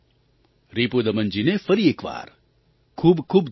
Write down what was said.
રિપુદમનજીને ફરી એક વાર ખૂબ ખૂબ ધન્યવાદ